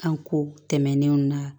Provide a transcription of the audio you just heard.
An ko tɛmɛnenw na